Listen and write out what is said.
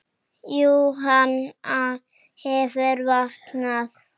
Jú, hana hefur vantað.